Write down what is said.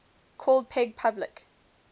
called peg public